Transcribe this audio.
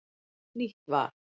Nýtt val